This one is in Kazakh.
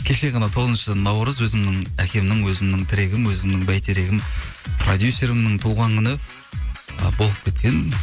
кешегі ғана тоғызыншы наурыз өзімнің әкемнің өзімнің тірегім өзімнің бәйтерегім продюсерімнің туған күні ы болып кеткен